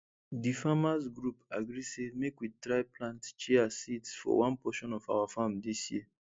di farmers group agree say make we try plant chia seeds for one portion of our farm dis year